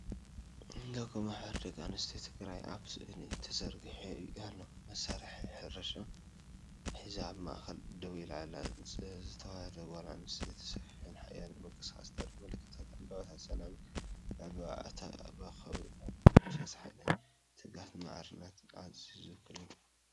ሎጎ “ማሕበር ደቂ ኣንስትዮ ትግራይ” ኣብ ስእሊ ተዘርጊሑ ኣሎ። መሳርሒ ሕርሻ ሒዛ ኣብ ማእኸል ደው ኢላ ዘላ ተዋህዶ ጓል ኣንስተይቲ ሰፊሕን ሓያልን ምንቅስቓስ ተርኢ፤ ምልክታት ዕምባባታትን ሰላምን ብዕምባባኣ ተኸቢቦም ኣለዉ። ንመንፈስ ሓይልን ትግሃትን ማዕርነትን ኣንስትዮ ዝውክል እዩ።